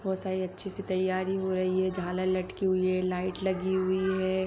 बहुत सारी अच्छे से तैयारी हो रही हैं झालर लटकी हुई हैं लाइट लगी हुई हैं।